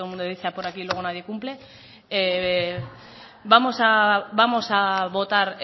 todo el mundo dice por aquí y luego nadie cumple vamos a votar